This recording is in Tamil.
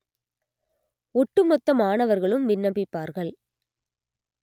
ஒட்டுமொத்த மாணவர்களும் விண்ணப்பிப்பார்கள்